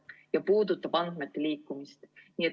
See puudutab ka andmete liikumist.